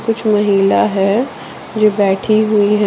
कुछ महिला है जो बैठी हुई है।